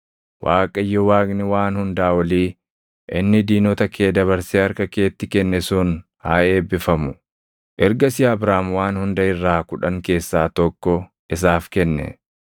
Waaqayyo Waaqni Waan Hundaa Olii, inni diinota kee dabarsee harka keetti kenne sun haa eebbifamu.” Ergasii Abraam waan hunda irraa kudhan keessaa tokko isaaf kenne.